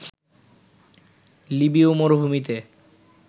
লিবীয় মরুভূমিতে